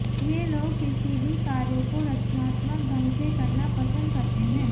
ये लोग किसी भी कार्य को रचनात्मक ढंग से करना पसंद करते हैं